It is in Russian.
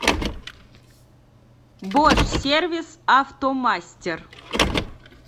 бош сервис автомастер